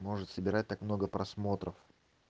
может собирать так много просмотров